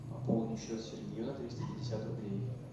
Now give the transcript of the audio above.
пополни счет сергею на триста пятьдесят рублей